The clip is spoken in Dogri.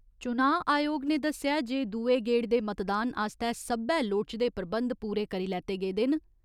चुनांऽ आयोग ने दस्सेया जे दूए गेड़ दे मतदान आस्तै सब्बै लोड़चदे प्रबंध पूरे करी लैते गेदे न।